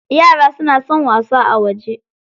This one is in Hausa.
Yara suna son wasa a waje.